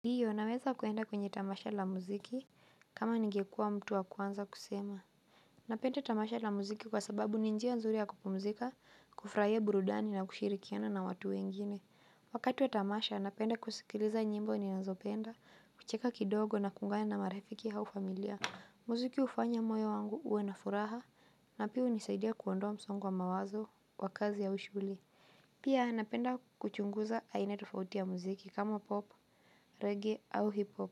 Ndiyo, naweza kuenda kwenye tamasha la muziki, kama ningekuwa mtu wa kwanza kusema. Napenda tamasha la muziki kwa sababu ni njia nzuri ya kupumzika, kufurahia burudani na kushirikiana na watu wengine. Wakati wa tamasha, napenda kusikiliza nyimbo ninazopenda, kucheka kidogo na kuungana na marafiki hau familia. Muziki hufanya moyo wangu uwe na furaha, na pia hunisaidia kuondoa msongo wa mawazo wa kazi ya ushuli. Pia napenda kuchunguza aina tofauti ya mziki kama pop reggae au hip hop